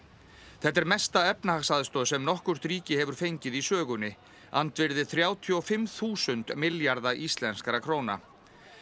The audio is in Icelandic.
þetta er mesta efnahagsaðstoð sem nokkurt ríki hefur fengið í sögunni andvirði þrjátíu og fimm þúsund milljarða íslenskra króna